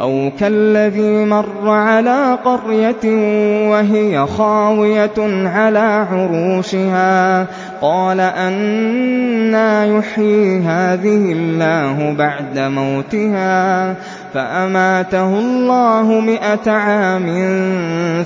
أَوْ كَالَّذِي مَرَّ عَلَىٰ قَرْيَةٍ وَهِيَ خَاوِيَةٌ عَلَىٰ عُرُوشِهَا قَالَ أَنَّىٰ يُحْيِي هَٰذِهِ اللَّهُ بَعْدَ مَوْتِهَا ۖ فَأَمَاتَهُ اللَّهُ مِائَةَ عَامٍ